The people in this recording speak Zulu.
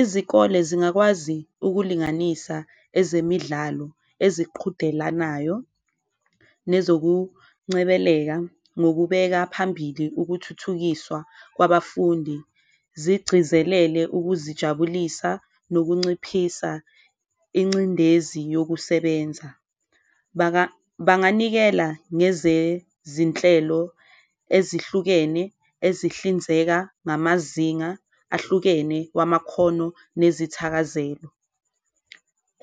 Izikole zingakwazi ukulinganisa ezemidlalo eziqhudelanayo nezokuncebeleka ngokubeka phambili ukuthuthukiswa kwabafundi, zigcizelele ukuzijabulisa nokunciphisa incindezi yokusebenza. Banganikela ngezezinhlelo ezihlukene ezihlinzeka ngamazinga ahlukene wamakhono nezithakazelo,